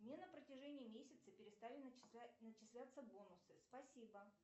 мне на протяжении месяца перестали начисляться бонусы спасибо